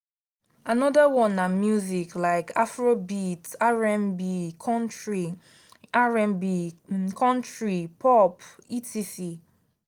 another one na music like afrobeat rnb country rnb country pop etc.